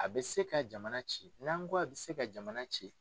A bɛ se ka jamana ci, n'an kɔ a bɛ se ka jamana ci,